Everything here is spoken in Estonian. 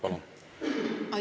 Palun!